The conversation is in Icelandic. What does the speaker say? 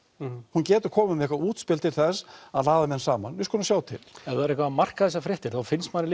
hún getur komið með eitthvað útspil til þess að ræða menn saman og við skulum sjá til ef það er eitthvað að marka þessar fréttir þá finnst manni